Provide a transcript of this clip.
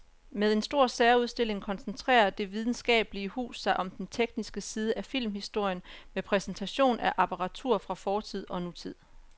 Med en stor særudstilling koncentrerer det videnskabelige hus sig om den tekniske side af filmhistorien med præsentation af apparatur fra fortid og nutid.